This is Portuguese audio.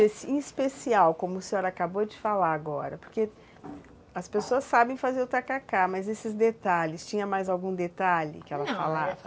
Esse especial, como a senhora acabou de falar agora, porque as pessoas sabem fazer o tacacá, mas esses detalhes, tinha mais algum detalhe que ela falava? Não,